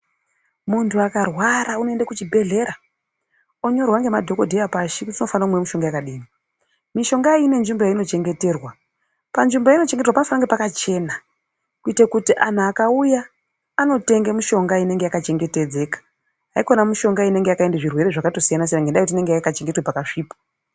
Munhu akarwara unoenda kuchibhedhlera onyorerwa pashi kuti unomwa mishonga yakadini. Mishonga iyi ine nzvimbo yainochengeterwa panofanire kunge pakachena kuitire kuti vanhu vakauya anotenge mishonga inenge takachengetedzeka haikona yakatoendwa nezvirwere nenyaa yekuti painochengeterwa panenge pakasvipa.